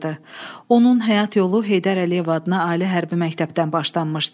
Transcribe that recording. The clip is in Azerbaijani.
Onun həyat yolu Heydər Əliyev adına ali hərbi məktəbdən başlanmışdı.